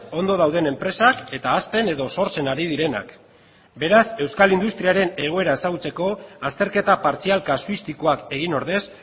ondo dauden enpresak eta hazten edo sortzen ari direnak beraz euskal industriaren egoera ezagutzeko azterketa partzial kasuistikoak egin ordez